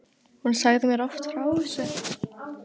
Hún sagði mér oft frá þessu.